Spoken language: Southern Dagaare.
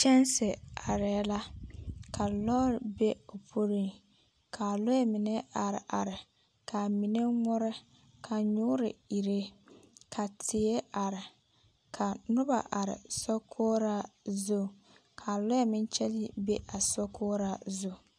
Kyanse arɛɛ la, ka lɔɔre be o puoriŋ. Kaa lɔɛ mine are are. Kaa mine ŋmore, ka nyoore ire ka teɛ are, ka noba are sokoɔraa zu. Kaa lɔɛ meŋ kyɛge bea sokoɔraa zu